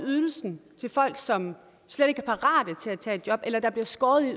ydelsen til folk som slet ikke er parate til at tage et job eller der bliver skåret ned